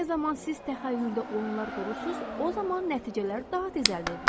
Nə zaman siz təxəyyüldə oyunlar qurursunuz, o zaman nəticələr daha tez əldə edilir.